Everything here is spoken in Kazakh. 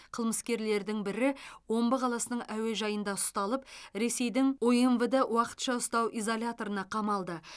қылмыскерлердің бірі омбы қаласының әуежайында ұсталып ресейдің умвд уақытша ұстау изоляторына қамалды